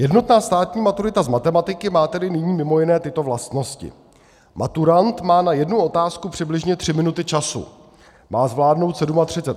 Jednotná státní maturita z matematiky má tedy nyní mimo jiné tyto vlastnosti: Maturant má na jednu otázku přibližně tři minuty času, má zvládnout 37 otázek za 120 minut.